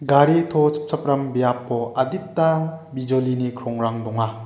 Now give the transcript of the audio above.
gari to chipchakram biapo adita bijolini krongrang donga.